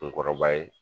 Kunkɔrɔba ye